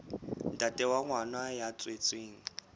ntate wa ngwana ya tswetsweng